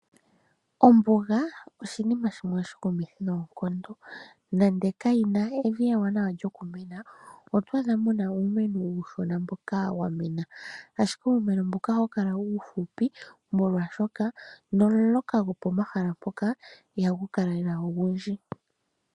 Ombuga oshinima shimwe oshikumithi noonkondo. Nande kayi na evi ewanawa lyokumena, oto adha mu na uumeno uushona mboka wa mena. Ashike uumeno mboka ohawu kala uufupi molwaashoka nomuloka gwopomahala mpoka ihagu kala lela ogundji.